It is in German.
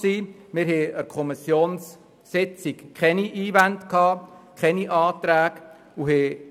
Es gab an der Kommissionssitzung keine Einwände, und es lagen keine Anträge vor.